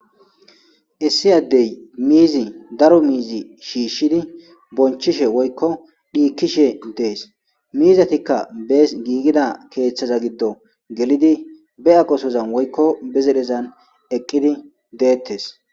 Issi addey miizi daro miizi shiishshidi bonchishe woykko dhiikkishe dees miizatikka bees giigida keeththaza giddo gelidi be a gosozan woykko be zedhezan eqqidi deettes.